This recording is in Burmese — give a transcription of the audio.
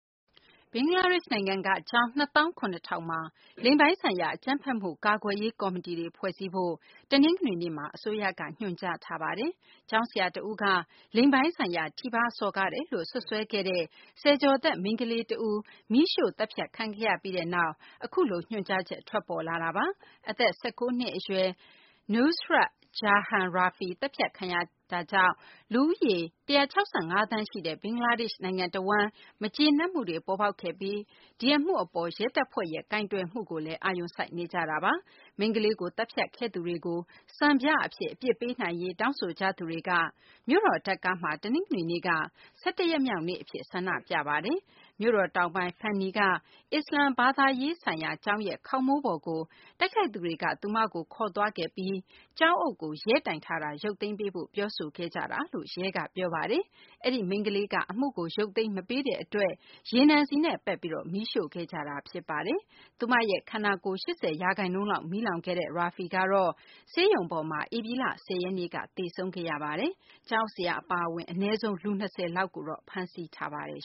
ဘင်္ဂလားဒေရှ့် နိုင်ငံက ကျောင်း နှစ်သောင်း ခုနှစ်ထောင်မှာ လိင်ပိုင်းဆိုင်ရာ အကြမ်းဖက်မှု ကာကွယ်ရေး ကော်မတီတွေ ဖွဲ့စည်းဖို့ တနင်္ဂနွေနေ့မှာ အစိုးရက ညွှန်ကြားထားပါတယ်။ ကျောင်းဆရာ တဦးက လိင်ပိုင်းဆိုင်ရာ ထိပါးစော်ကားတယ်လို့ စွပ်စွဲခဲ့တဲ့ ဆယ်ကျော်သက် မိန်းကလေးတဦး မီးရှိုှု့ သတ်ဖြတ်ခံရပြီးနောက် အခုလို ညွှန်ကြားချက် ထွက်ပေါ်လာတာပါ။ အသက် ၁၉ နှစ် အရွယ် Nusrat Jahan Rafi သတ်ဖြတ်ခံရတာကြောင့် လူဦးရေ ၁၆၅ သန်းရှိတဲ့ ဘင်္ဂလားဒေရှ့် နိုင်ငံတဝန်း မကျေနပ်မှုတွေ ဖြစ်ခဲ့ပြီး ဒီအမှုအပေါ် ရဲဘက်က ကိုယ်တွယ်မှုကိုလည်း အာရုံစိုက်နေကြတာပါ။ မိန်းကလေးကို သတ်ဖြတ်ခဲ့သူတွေကို စံပြ အဖြစ် အပြစ်ပေးနိုင်ရေး တောင်းဆိုကြသူတွေက မြို့တော် Dhaka မှာတော့ တနင်္ဂနွေနေ့က ၁၁ ရက်မြောက် နေ့ အဖြစ် ဆန္ဒပြခဲ့ကြပါတယ်။ မြို့တော်တောင်ပိုင်း Feni က အစ္စလာမ္မစ် ဘာသာရေးဆိုင်ရာ ကျောင်းရဲ့ ခေါင်းမိုးပေါ်ကို တိုက်ခိုက်သူတွေက သူမကို ခေါ်သွားပြီး ကျောင်းအုပ်ကို ရဲတိုင်ထားတာ ရုပ်သိမ်းပေးဖို့ ပြောဆိုခဲ့ကြတာလို့ ရဲက ပြောပါတယ်။ အဲဒီ မိန်းကလေးက အမှုကို ရုပ်သိမ်းမပေးတဲ့ အတွက် ရေနံဆီနဲ့ ပက်ပြီး မီးရှို့ခဲ့ကြတာ ဖြစ်ပါတယ်။ သူမ ခန္ဓာကိုယ်ရဲ့ ၈၀ ရာခိုင်နှုန်းလောက် မီးလောင်ခဲ့တဲ့ Rafi ကတော့ ဆေးရုံပေါ်မှာ ဧပြီလ ၁၀ ရက်နေ့က သေဆုံးခဲ့ရပါတယ်။ ကျောင်းအုပ်ဆရာ အပါအဝင် အနည်းဆုံး လူ ၂၀ လောက်ကို ဖမ်းဆီးထားပါတယ်